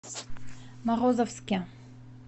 морозовске